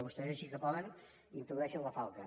i vostès així que poden introdueixen la falca